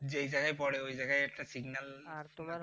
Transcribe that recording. যে জায়গায় পড়ে ওই জায়গায় একটা signal